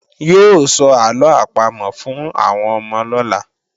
Yóò sọ àlọ́ àpamọ̀ fún àwọn ọmọ lọ́la